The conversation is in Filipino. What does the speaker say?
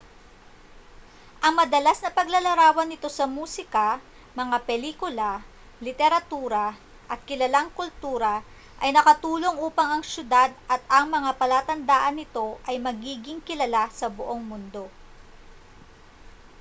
ang madalas na paglalarawan nito sa musika mga pelikula literatura at kilalang kultura ay nakatulong upang ang syudad at ang mga palatandaan nito ay magiging kilala sa buong mundo